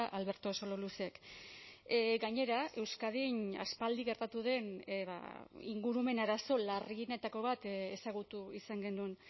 alberto sololuzek gainera euskadin aspaldi gertatu den ingurumen arazo larrienetako bat ezagutu izan genuen